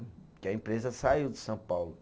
Porque a empresa saiu de São Paulo.